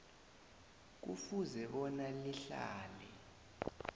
kufuze bona lihlale